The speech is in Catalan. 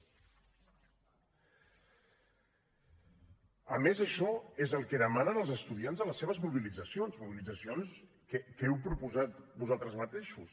a més això és el que demanen els estudiants a les seves mobilitzacions mobilitzacions que heu proposat vosaltres mateixos